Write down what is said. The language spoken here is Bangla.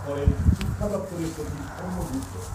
করেন শিক্ষা দপ্তরের সচিব সৌম্যা গুপ্তা ।